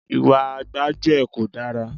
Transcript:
Ìwà gbájúẹ̀ kò dára.